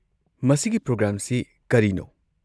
ꯃꯁꯤꯒꯤ ꯄ꯭ꯔꯣꯒ꯭ꯔꯥꯝꯁꯤ ꯀꯔꯤꯅꯣ?